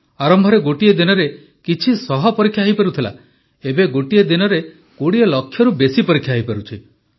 ଆରମ୍ଭରେ ଗୋଟିଏ ଦିନରେ କିଛି ଶହ ପରୀକ୍ଷା ହୋଇପାରୁଥିଲା ଏବେ ଗୋଟିଏ ଦିନରେ 20 ଲକ୍ଷରୁ ବେଶି ପରୀକ୍ଷା ହୋଇପାରୁଛି